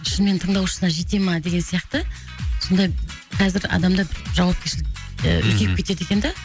шынымен тыңдаушысына жете ма деген сияқты сондай қазір адамда бір жауапкершілік ііі үлкейіп кетеді екен да